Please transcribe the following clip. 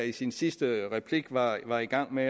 i sin sidste replik var var i gang med